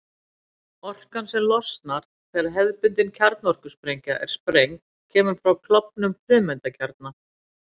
Orkan sem losnar þegar hefðbundin kjarnorkusprengja er sprengd kemur frá klofnun frumeindakjarna.